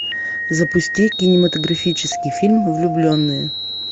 запусти кинематографический фильм влюбленные